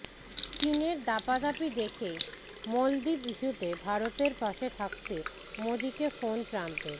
চিনের দাপাদাপি দেখেই মলদ্বীপ ইস্যুতে ভারতের পাশে থাকতে মোদীকে ফোন ট্রাম্পের